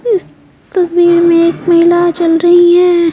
इस तस्वीर में एक महिला चल रही है।